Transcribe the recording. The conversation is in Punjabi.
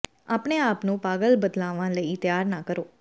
ਆਪਣੇ ਆਪ ਨੂੰ ਪਾਗਲ ਬਦਲਾਵਾਂ ਲਈ ਤਿਆਰ ਨਾ ਕਰੋ